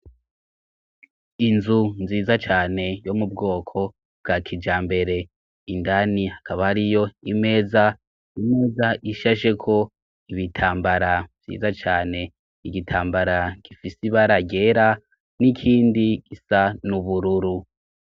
Inzu nziza cane yo mu bwoko bwa kija mbere indani hakaba ariyo imeza imeza ishasheko ibitambara vyiza cane igitambara gifise ibara ryera n'ikindi gisa n'ubururu.